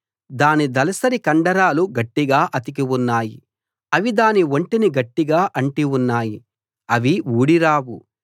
దాని దళసరి కండరాలు గట్టిగా అతికి ఉన్నాయి అవి దాని ఒంటిని గట్టిగా అంటి ఉన్నాయి అవి ఊడి రావు